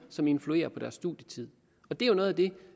som influerer på deres studietid det er jo noget af det